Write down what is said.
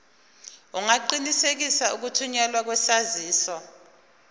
ungaqinisekisa ukuthunyelwa kwesaziso